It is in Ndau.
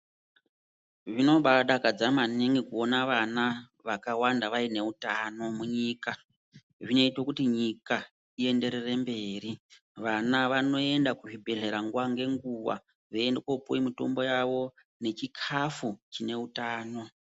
Zvinobadakadza maningi kuona vana vakawanda vaine utano munyika zvinoite kuti nyika ienderere mberi vana vanoenda kuzvibhedhlera nguwa nenguwa veienda kopuwa mitombo yawo nechikafu chineutano.